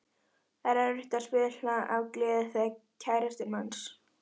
Það var erfitt að spila af gleði þegar kærastinn manns.